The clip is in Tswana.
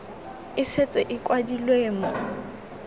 e setse e kwadilwe mo